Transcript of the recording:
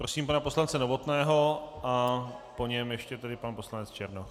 Prosím pana poslance Novotného a po něm ještě tedy pan poslanec Černoch.